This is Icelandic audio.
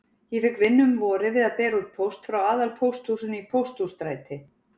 Ég fékk vinnu um vorið við að bera út póst frá aðalpósthúsinu í Pósthússtræti.